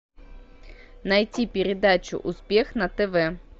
найти передачу успех на тв